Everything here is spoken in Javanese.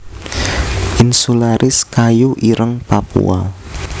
insularis kayu ireng Papua